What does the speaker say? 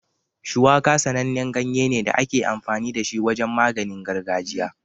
Shuwaka sanannen ganye ne da ake amfani da shi wajen maganin gargajiya.